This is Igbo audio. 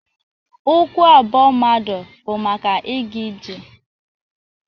Ụkwụ abụọ mmadụ bụ maka ịga ije.